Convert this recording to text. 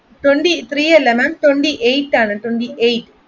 twenty three ma'am അല്ല twenty eight ആണ്